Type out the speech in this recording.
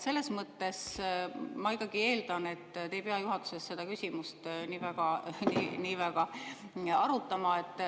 Ma ikkagi eeldan, et te ei pea juhatuses seda küsimust nii väga arutama.